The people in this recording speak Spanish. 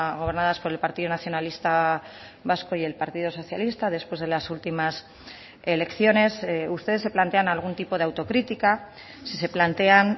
gobernadas por el partido nacionalista vasco y el partido socialista después de las últimas elecciones ustedes se plantean algún tipo de autocrítica si se plantean